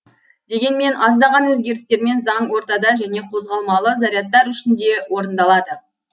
дегенмен аздаған өзгерістермен заң ортада және қозғалмалы зарядтар үшін де орындалады